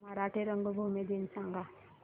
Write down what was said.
मराठी रंगभूमी दिन सांगा